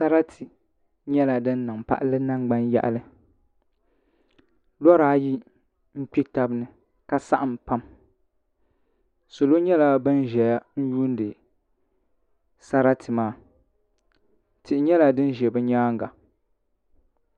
Sarati nyɛla din niŋ palli nangbani yaɣali lora ayi n kpɛ tabi ni ka saɣam pam salo nyɛla bin ʒɛya n yuundi sarati maa tihi nyɛla din ʒɛ bi nyaanga